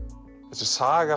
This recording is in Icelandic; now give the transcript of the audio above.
þessi saga